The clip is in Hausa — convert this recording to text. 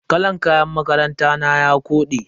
Kalan kayan makaranta na ya kode.